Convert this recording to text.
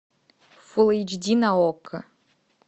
фул эйч ди на окко